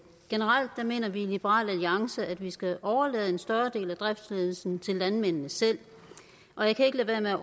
generelt mener vi i liberal alliance at vi skal overlade en større del af driftsledelsen til landmændene selv og jeg kan ikke lade være